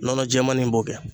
Nɔnɔ jɛmani in b'o kɛ.